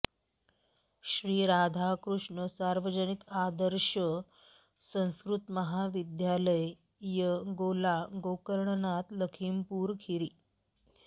Shri Radhakrishna Sarvajanik Adarsh Sanskritmahavidyalaya Gola Gokarnanath Lakhimpur Kheri